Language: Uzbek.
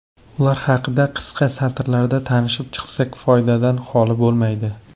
Ular haqida qisqa satrlarda tanishib chiqsak, foydadan holi bo‘lmaydi.